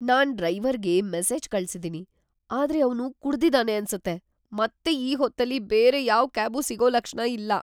ನಾನ್‌ ಡ್ರೈವರ್‌ಗೆ ಮೆಸೇಜ್ ಕಳ್ಸಿದೀನಿ‌, ಆದ್ರೆ ಅವ್ನು ಕುಡ್ದಿ‌ದಾನೆ ಅನ್ಸತ್ತೆ ಮತ್ತೆ ಈ ಹೊತ್ತಲ್ಲಿ ಬೇರೆ ಯಾವ್ ಕ್ಯಾಬೂ ಸಿಗೋ ಲಕ್ಷಣ ಇಲ್ಲ.